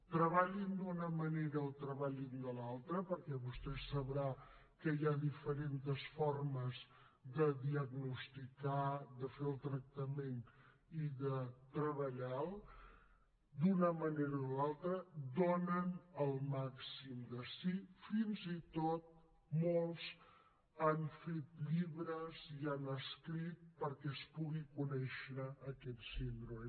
treballin d’una manera o treballin de l’altra perquè vostè deu saber que hi ha diferents formes de diagnosticar de fer el tractament i de treballar lo d’una manera o de l’altra donen el màxim de si fins i tot molts han fet llibres i han escrit perquè es pugui conèixer aquesta síndrome